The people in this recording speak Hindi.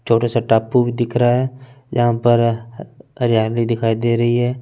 छोटा सा टापू भी दिख रहा है जहा पर अ हरियाली दिखाई दे रही है ।